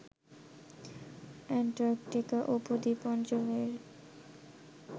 Antarctica উপদ্বীপ অঞ্চলের